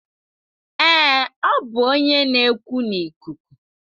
Ee, ọ bụ onye na-ekwu n'ikuku.